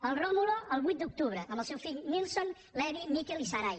el rómulo el vuit d’octubre amb els seus fills nilson levy mikel i sarai